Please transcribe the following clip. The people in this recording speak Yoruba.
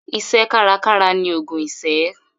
Iṣẹ́ kárakára ni ògùn ìṣẹ́.